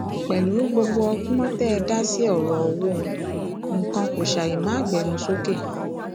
pẹlú gbogbo ọgbọn tẹ ẹ dá sí ọrọ owó nǹkan kó ṣàì máa gbénú sókè